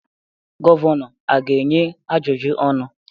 Gọvanọ a ga-enye ajụjụ ọnụ?